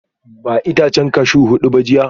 Ba itacen cashew hudu ba jiya?